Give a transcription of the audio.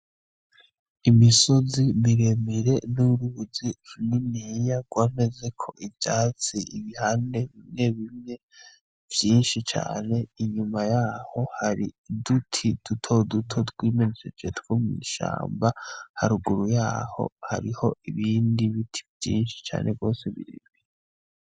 Imisozi miremire n'uruzi runiniya rwamezeko ivyatsi ibihande bimwe bimwe vyinshi cane inyuma yaho Hari uduti duto duto twimejeje two mw'ishamba, haraguru yaho Hariho Ibindi biti vyinshi binini binini.